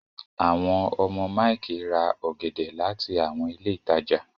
àwọn ọmọ Mike rà ògèdè láti àwọn ilé ìtàjà.